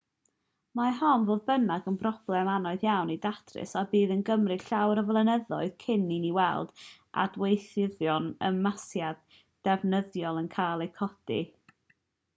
mae hon fodd bynnag yn broblem anodd iawn i'w datrys a bydd yn cymryd llawer o flynyddoedd cyn i ni weld adweithyddion ymasiad defnyddiol yn cael eu codi